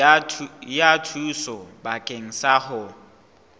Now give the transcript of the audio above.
ya thuso bakeng sa ho